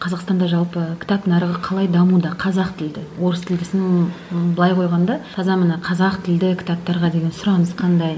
қазақстанда жалпы кітап нарығы қалай дамуда қазақ тілді орыс тілдісін ы былай қойғанда таза міне қазақ тілді кітаптарға деген сұраныс қандай